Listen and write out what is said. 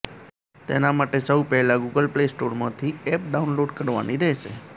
તેના માટે સૌ પહેલાં ગૂગલ પ્લે સ્ટોરમાંથી એપ ડાઉનલોડ કરવાની રહેશે